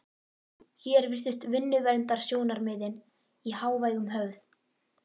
Hér virtust vinnuverndarsjónarmiðin í hávegum höfð.